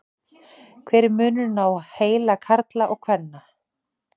hver er munurinn á heila karla og kvenna